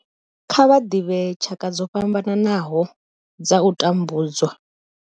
Kha vha ḓivhe tshaka dzo fhambanaho dza u tambudzwa.